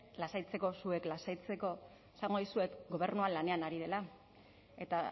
lasaitzeko zuek lasaitzeko esango dizuet gobernua lanean ari dela eta